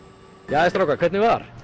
jæja strákar hvernig var